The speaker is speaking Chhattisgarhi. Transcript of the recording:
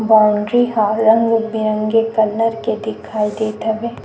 बाउंड्री ह रंग-बिरंगे कलर के दिखाई देत हवे।